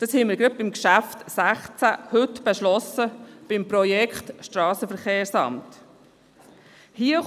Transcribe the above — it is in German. Das haben wir heute beim Traktandum 16 zum Projekt Strassenverkehrsamt beschlossen.